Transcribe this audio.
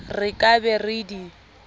re ka be re di